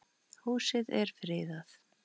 Húsið er friðað.